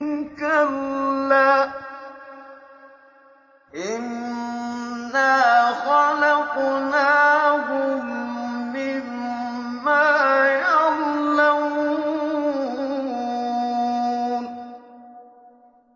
كَلَّا ۖ إِنَّا خَلَقْنَاهُم مِّمَّا يَعْلَمُونَ